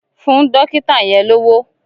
Fún dọ́kìtà yẹn lówó!